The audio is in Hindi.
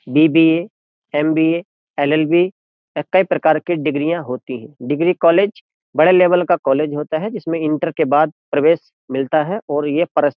बीबीए एमबीए एलएलबी कई प्रकार की डिग्रियां होती हैं डिग्री कॉलेज बड़े लेवल का कॉलेज होता है जिसमें इंटर के बाद प्रवेश मिलता है और यह परस --